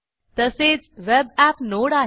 तसेच web app node आहे